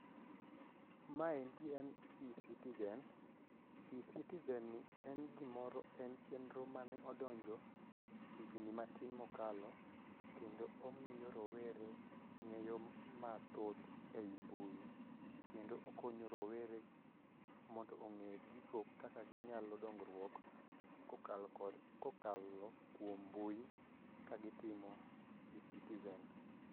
Maendi en eCitizen, eCitizen ni en chenro mane odonjo higni matin mokalo kendo omiyo rowere ng'eyo mathoth e i mbui kendo okonyo rowere mondo ong'e gigo kaka ginyalo dongruok kokalo kuom mbui kagitimo eCitizen.